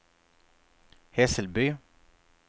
Hässelby